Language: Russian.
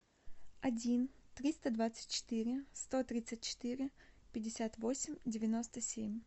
один триста двадцать четыре сто тридцать четыре пятьдесят восемь девяносто семь